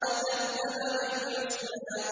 وَكَذَّبَ بِالْحُسْنَىٰ